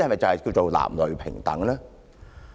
這叫男女平等嗎？